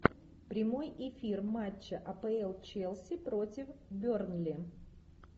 прямой эфир матча апл челси против бернли